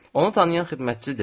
Onu tanıyan xidmətçi dedi.